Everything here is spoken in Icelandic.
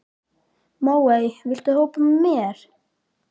Móey, viltu hoppa með mér?